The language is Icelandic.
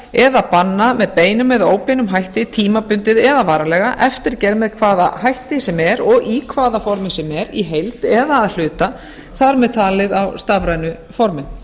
eða banna með beinum eða óbeinum hætti tímabundið eða varanlega eftirgerð með hvaða hætti sem er og í hvaða formi sem er í heild eða að hluta þar með talið á stafrænu formi